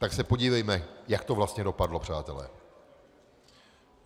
Tak se podívejme, jak to vlastně dopadlo, přátelé.